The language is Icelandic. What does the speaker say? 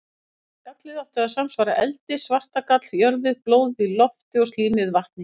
Gallið átti að samsvara eldi, svartagall jörðu, blóðið lofti og slímið vatni.